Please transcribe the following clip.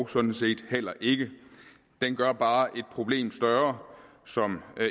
sådan set heller ikke det gør bare et problem som